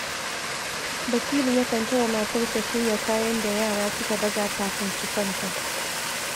Basiru yakan taya matarsa shirya kayan da yara suka baza kafin su kwanta